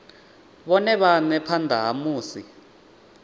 vhone vhane phanda ha musi